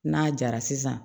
N'a jara sisan